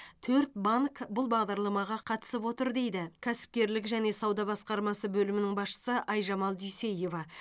төрт банк бұл бағдарламаға қатысып отыр дейді кәсіпкерлік және сауда басқармасы бөлімінің басшысы айжамал дүйсеева